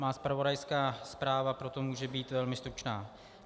Má zpravodajská zpráva proto může být velmi stručná.